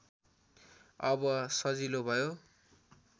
अब सजिलो भयो